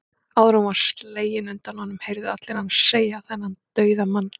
Áður en hún var slegin undan honum, heyrðu allir hann segja, þennan dauðamann